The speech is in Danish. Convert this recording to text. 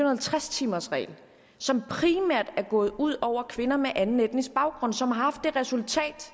og halvtreds timers regel som primært er gået ud over kvinder med anden etnisk baggrund og som har haft det resultat